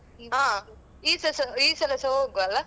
ಹ ಈಸಸ ಈಸಲ ಸ ಹೋಗ್ವ ಅಲ್ಲಾ?